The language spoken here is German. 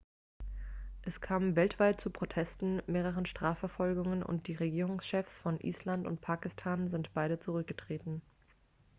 es kam weltweit zu protesten mehreren strafverfolgungen und die regierungschefs von island und pakistan sind beide zurückgetreten